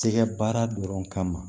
Tɛgɛ baara dɔrɔn kama